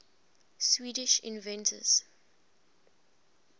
swedish inventors